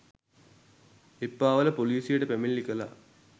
එප්පාවල පොලිසියට පැමිණිලි කළා